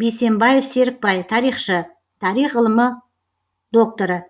бейсембаев серікбай тарихшы тарих ғылыми докторы